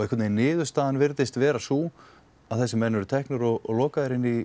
einhvernvegin niðurstaðan virðist verða sú að þessir menn eru teknir og lokaðir inni í